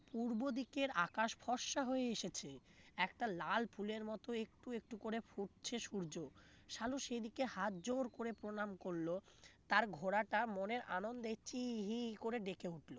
পূর্ব দিকে আকাশ ফর্সা হয়ে এসেছে একটা লাল ফুলের মত একটু একটু করে ফুটছে সূর্য সালু সেদিকে হাতজোড় করে প্রণাম করল তার ঘোড়াটা মনের আনন্দে হি হি করে ডেকে উঠলো